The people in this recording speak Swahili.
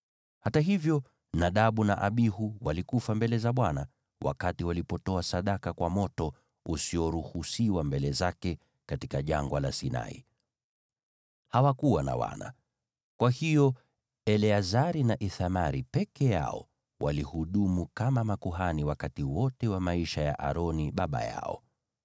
Hata hivyo Nadabu na Abihu walikufa mbele za Bwana walipotoa sadaka kwa moto usioruhusiwa mbele zake katika Jangwa la Sinai. Hawakuwa na wana; kwa hiyo Eleazari na Ithamari walihudumu peke yao kama makuhani wakati wote wa maisha ya Aroni baba yao.